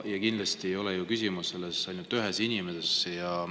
Ja kindlasti ei ole ju küsimus ainult ühes inimeses.